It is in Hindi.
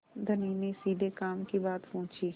धनी ने सीधे काम की बात पूछी